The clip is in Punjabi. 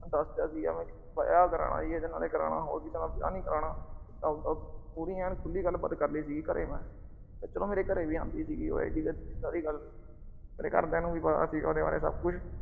ਦੱਸ ਤਾ ਸੀ ਵੀ ਵਿਆਹ ਕਰਾਉਣਾ ਜੀ ਏਦੇ ਨਾਲ ਕਰਾਉਣਾ, ਹੋਰ ਕਿਸੇ ਨਾਲ ਨੀ ਕਰਾਉਣਾ। ਆਪਦਾ ਪੂਰੀ ਏਨ ਖੁੱਲ੍ਹੀ ਗੱਲਬਾਤ ਕਰ ਲੀ ਸੀ ਘਰੇ ਮੈਂ। ਉਧਰੋਂ ਮੇਰੇ ਘਰੇ ਵੀ ਆਂਦੀ ਸੀਗੀ। ਏਡੀ ਸਾਰੀ ਗੱਲ, ਮੇਰੇ ਘਰ ਦੀਆ ਨੂੰ ਵੀ ਪਤਾ ਸੀਗਾ ਉਹਦੇ ਬਾਰੇ ਸਭ ਕੁਛ।